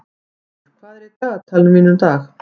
Haukur, hvað er í dagatalinu mínu í dag?